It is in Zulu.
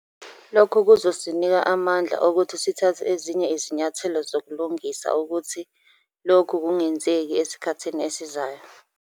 Lokhu kuzosinika amandla okuthi sithathe ezinye izinyathelo zokulungisa ukuthi lokhu kungenzeki esikhathini esizayo.